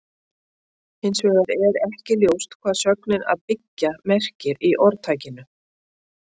Hins vegar er ekki ljóst hvað sögnin að byggja merkir í orðtakinu.